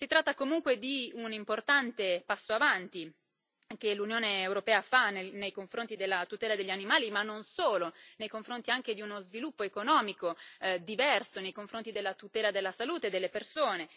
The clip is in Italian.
Si tratta comunque di un importante passo avanti che l'Unione europea fa nei confronti della tutela degli animali, ma non solo, nei confronti anche di uno sviluppo economico diverso, nei confronti della tutela della salute delle persone.